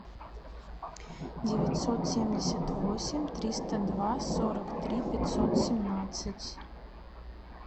девятьсот семьдесят восемь триста два сорок три пятьсот семнадцать